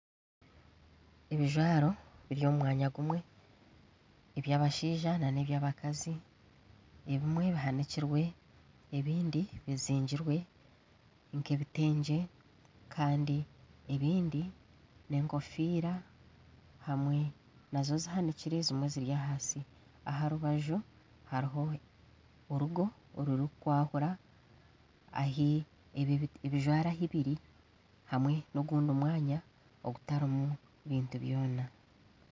Ebijwaro biri omu mwanya gumwe eby'abashaija nebya abakazi ebimwe bihanikirwe ebindi bizigirwe nk'ebitengye kandi ebindi n'enkofiira zimwe zihanikire zimwe ziri ahansi aha rubaju hariho orugo orurikutaanisa ebijwaro ahu biri hamwe n'ogundi mwanya ogutarimu bintu byona.